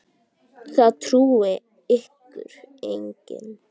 Það trúir ykkur enginn!